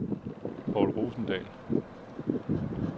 Povl Rosendahl